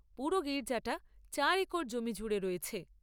পুরো গির্জাটা চার একর জমি জুড়ে রয়েছে।